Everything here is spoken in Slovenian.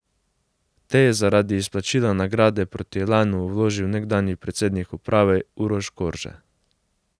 Te je zaradi izplačila nagrade proti Elanu vložil nekdanji predsednik uprave Uroš Korže.